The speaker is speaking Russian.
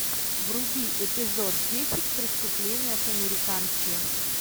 вруби эпизод десять преступление по американски